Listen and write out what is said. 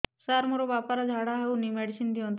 ସାର ମୋର ବାପା ର ଝାଡା ଯାଉନି ମେଡିସିନ ଦିଅନ୍ତୁ